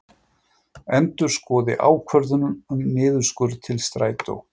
Endurskoði ákvörðun um niðurskurð til Strætó